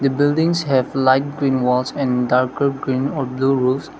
the buildings have light green walls and darker green or blue roofs.